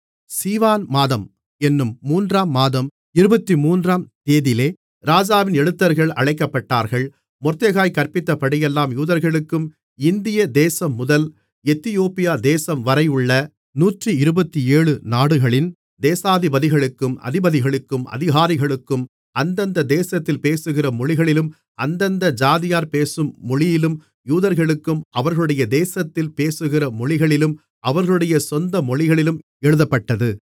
சீவான் மாதம் என்னும் மூன்றாம் மாதம் இருபத்துமூன்றாம் தேதிலே ராஜாவின் எழுத்தர்கள் அழைக்கப்பட்டார்கள் மொர்தெகாய் கற்பித்தபடியெல்லாம் யூதர்களுக்கும் இந்திய தேசம்முதல் எத்தியோப்பியா தேசம் வரையுள்ள நூற்றிருபத்தேழு நாடுகளின் தேசாதிபதிகளுக்கும் அதிபதிகளுக்கும் அதிகாரிகளுக்கும் அந்தந்த தேசத்தில் பேசுகிற மொழிகளிலும் அந்தந்த ஜாதியார் பேசும் மொழியிலும் யூதர்களுக்கும் அவர்களுடைய தேசத்தில் பேசுகிற மொழிகளிலும் அவர்களுடைய சொந்த மொழிகளிலும் எழுதப்பட்டது